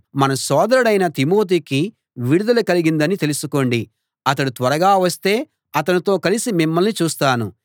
మన సోదరుడైన తిమోతికి విడుదల కలిగిందని తెలుసుకోండి అతడు త్వరగా వస్తే అతనితో కలసి మిమ్మల్ని చూస్తాను